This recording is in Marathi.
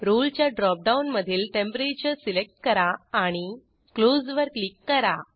रोळे च्या ड्रॉपडाऊनमधील टेम्परेचर सिलेक्ट करा आणि क्लोज वर क्लिक करा